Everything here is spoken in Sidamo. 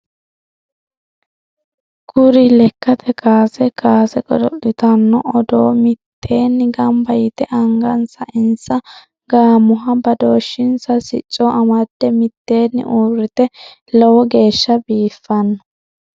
Kuri lekkate kaase kaase godo'litanno oodo mittenni gamba yite angansa insa gaamoha badooshinsa sicco amadde mittenni uurite lowo geeshsha biifino.